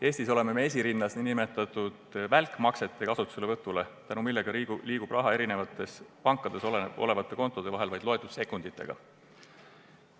Eestis oleme me esirinnas nn välkmaksete kasutuselevõtus, tänu millele liigub raha eri pankades olevate kontode vahel kõigest loetud sekunditega.